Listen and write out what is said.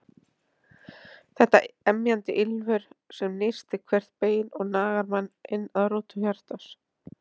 Þetta emjandi ýlfur sem nístir hvert bein og nagar mann inn að rótum hjartans.